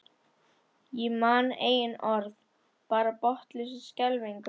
Ég man engin orð, bara botnlausa skelfingu.